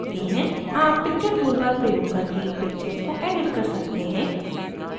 आप picture toolbar प्रयोग करके इन picture को edit कर सकते हैं